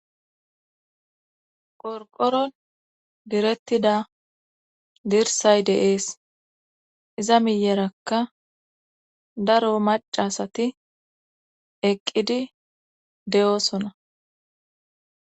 Qorqoron direttida dirsay deees iza miyerakka daro macasati eqqidi de'oosona.